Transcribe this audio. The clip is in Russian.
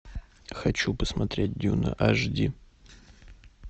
хочу посмотреть дюна аш ди